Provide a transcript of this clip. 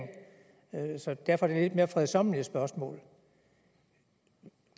derfor dette lidt mere fredsommelige spørgsmål